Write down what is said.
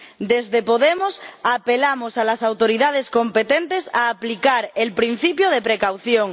Desde Podemos apelamos a las autoridades competentes a aplicar el principio de precaución.